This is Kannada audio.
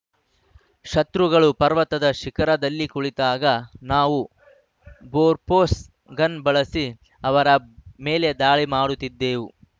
ಶತ್ರುಗಳು ಪರ್ವತದ ಶಿಖರದಲ್ಲಿ ಕುಳಿತಾಗ ನಾವು ಬೊಫೋರ್ಸ್‌ ಗನ್‌ ಬಳಸಿ ಅವರ ಮೇಲೆ ದಾಳಿ ಮಾಡುತ್ತಿದ್ದೆವು